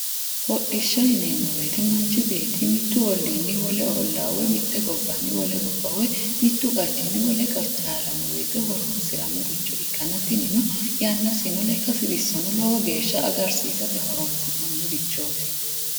Hodhishsha yineemmo woyite manchu beetti mittu olliinni wole ollaa woy mitte gobbanni wole gobba woyi mittu qachinni wole qacha haranno woyite horoonsirannoricho ikkanna tinino yannasino lekkasi xisono lowo geeshsha agarsiisate horoonsi'nannirichooti.